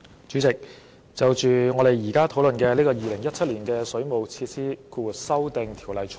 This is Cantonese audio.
主席，我支持我們現時討論的《2017年水務設施條例草案》。